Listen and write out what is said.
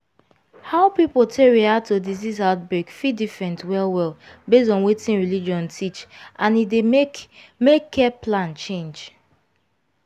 how people take react to disease outbreak fit different well-well based on wetin religion teach and e dey make care make care plan change.